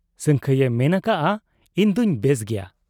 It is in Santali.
ᱥᱟᱹᱝᱠᱷᱟᱹᱭ ᱮ ᱢᱮᱱ ᱟᱠᱟᱜ ᱟ ᱤᱧᱫᱚᱧ ᱵᱮᱥ ᱜᱮᱭᱟ ᱾